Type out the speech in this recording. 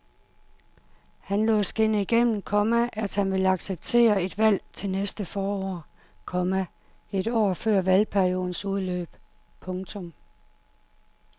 Han lod skinne igennem, komma at han vil acceptere et valg til næste forår, komma et år før valgperiodens udløb. punktum